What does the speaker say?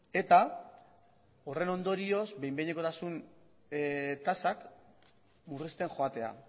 eta horren ondorioz behin behinekotasun tasak murrizten joatea